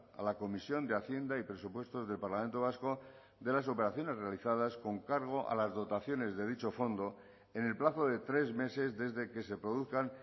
a la comisión de hacienda y presupuestos del parlamento vasco de las operaciones realizadas con cargo a las dotaciones de dicho fondo en el plazo de tres meses desde que se produzcan